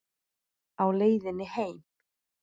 Á leiðinni heim?